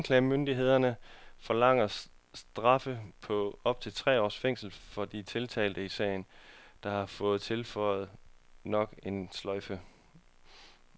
Anklagemyndigheden forlanger straffe på op til tre års fængsel for de tiltalte i sagen, der har fået tilføjet nok en sløjfe.